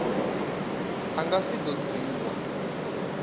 a nga si do dzhiiwa